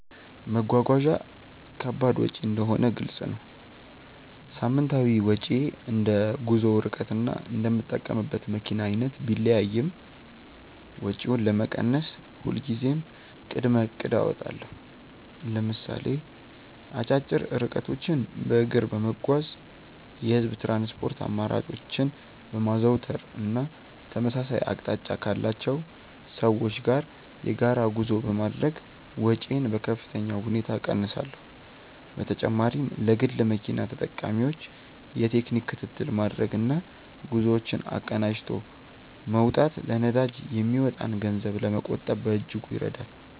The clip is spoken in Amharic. መጓጓዣ ከባድ ወጪ እንደሆነ ግልጽ ነው። ሳምንታዊ ወጪዬ እንደ ጉዞው ርቀትና እንደምጠቀምበት መኪና አይነት ቢለያይም፣ ወጪውን ለመቀነስ ሁልጊዜም ቅድመ እቅድ አወጣለሁ። ለምሳሌ አጫጭር ርቀቶችን በእግር በመጓዝ፣ የህዝብ ትራንስፖርት አማራጮችን በማዘውተር እና ተመሳሳይ አቅጣጫ ካላቸው ሰዎች ጋር የጋራ ጉዞ በማድረግ ወጪዬን በከፍተኛ ሁኔታ እቀንሳለሁ። በተጨማሪም ለግል መኪና ተጠቃሚዎች የቴክኒክ ክትትል ማድረግና ጉዞዎችን አቀናጅቶ መውጣት ለነዳጅ የሚወጣን ገንዘብ ለመቆጠብ በእጅጉ ይረዳል።